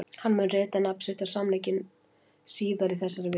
Hann mun rita nafn sitt á samninginn síðar í þessari viku.